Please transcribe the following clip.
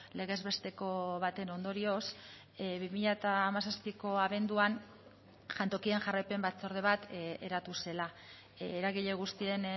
legez besteko baten ondorioz bi mila hamazazpiko abenduan jantokien jarraipen batzorde bat eratu zela eragile guztien